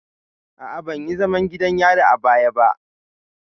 A'a, ban yi zaman gidan yari a baya ba.